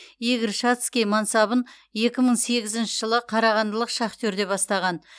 игорь шацкий мансабын екі мың сегізінші жылы қарағандылық шахтерде бастаған